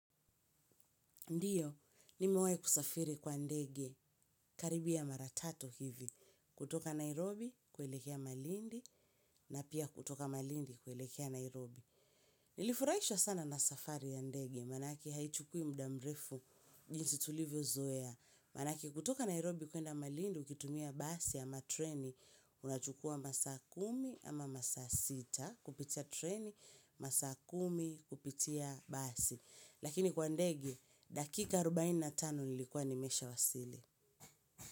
Ndiyo, nimewahi kusafiri kwa ndege karibia mara tatu hivi, kutoka Nairobi kuelekea malindi na pia kutoka malindi kuelekea Nairobi. Nilifurahishwa sana na safari ya ndege manake haichukui muda mrefu jinsi tulivyozoea. Manake kutoka Nairobi kuenda malindi ukitumia basi ama treni unachukua masaa kumi ama masaa sita kupitia treni, masaa kumi kupitia basi. Lakini kwa ndege, dakika arobaini na tano nilikuwa nimeshawasili.